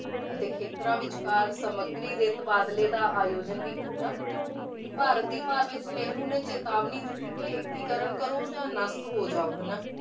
ਅਤੇ ਖੇਤਰਾਂ ਵਿਚਕਾਰ ਸਮੱਗਰੀ ਦੇ ਤਬਾਦਲੇ ਦਾ ਆਯੋਜਨ ਵੀ ਕੀਤਾ ਤੇ ਭਾਰਤ ਦੀ ਨਹਿਰੂ ਨੇ ਚੇਤਾਵਨੀ ਦਿੱਤੀ ਕਿ ਏਕੀਕਰਨ ਕਰੋ ਜਾਂ ਨਸ਼ਟ ਹੋ ਜਾਓ ਹਨਾ